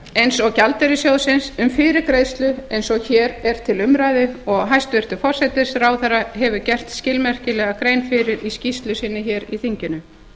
eins og gjaldeyrissjóðsins um fyrirgreiðslu eins og hér er til umræðu og hæstvirtur forsætisráðherra hefur gert skilmerkilega grein fyrir í skýrslu sinni í þinginu